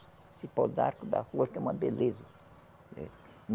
Esse pau d'arco da rua que é uma beleza.